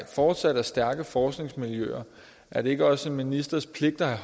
fortsat er stærke forskningsmiljøer er det ikke også en ministers pligt at have